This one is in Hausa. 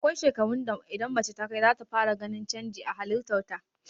Akwai shekarun da idan mace takai, zata fara ganin canji a halitar ta.